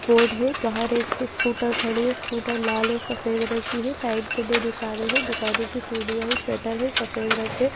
board है बाहर एक स्कूटर खड़ी है स्कूटर लाल और सफेद रंग की है साइड पे दो दुकान है दुकानों की सीढ़ियां है शटर है सफेद रंग के --